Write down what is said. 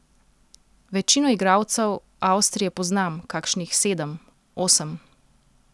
Večino igralcev Avstrije poznam, kakšnih sedem, osem.